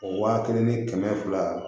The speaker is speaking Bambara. O wa kelen ni kɛmɛ fila